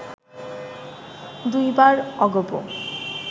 দুইবার অগপ